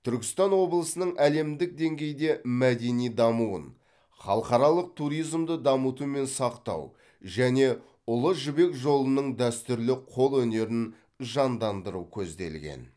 түркістан облысының әлемдік деңгейде мәдени дамуын халықаралық туризмді дамыту мен сақтау және ұлы жібек жолының дәстүрлі қолөнерін жандандыру көзделген